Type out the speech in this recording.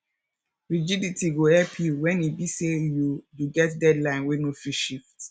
rigidity go help yu wen e be say yu yu get deadline wey no fit shift